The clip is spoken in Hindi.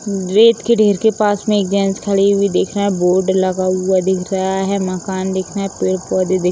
रेत के ढ़ेर के पास में एक जेंट्स खड़ी हुई देख रहा है। बोर्ड लगा हुआ दिख रहा है। मकान दिख रहे। पेड़-पौधे दिख --